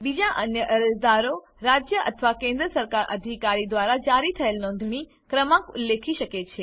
બીજા અન્ય અરજદારો રાજ્ય અથવા કેન્દ્ર સરકાર અધિકારી દ્વારા જારી થયેલ નોંધણી ક્રમાંક ઉલ્લેખી શકે છે